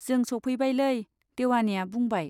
जों सौफैबायलै। देवानिया बुंबाय